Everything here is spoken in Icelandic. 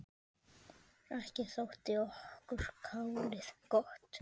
Ekki þótti okkur kálið gott.